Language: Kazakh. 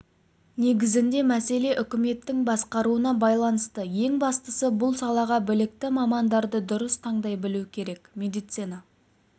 негізгі мәселе үкіметтің басқаруына байланысты ең бастысы бұл салаға білікті мамандарды дұрыс таңдай білу керек медицина